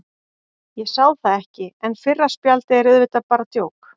Ég sá það ekki, en fyrra spjaldið er auðvitað bara djók.